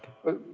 Teie aeg!